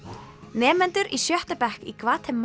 nemendur í sjötta bekk í Gvatemala